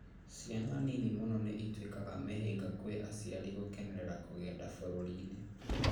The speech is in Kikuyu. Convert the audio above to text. ciana nini mũno nĩ ituĩkaga mĩhĩnga gwĩ aciari gũkenera kũgenda bururini?